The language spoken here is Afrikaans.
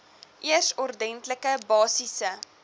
eers ordentlike basiese